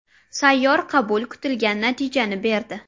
Sayyor qabul kutilgan natijani berdi.